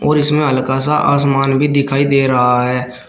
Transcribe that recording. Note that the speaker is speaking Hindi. और इसमें हल्का सा आसमान भी दिखाई दे रहा है।